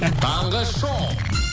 таңғы шоу